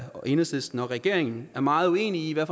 og enhedslisten og regeringen er meget uenige